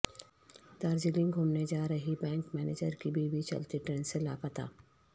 دارجلنگ گھومنے جا رہی بینک منیجر کی بیوی چلتی ٹرین سے لاپتہ